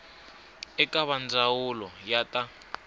eka va ndzawulo ya ta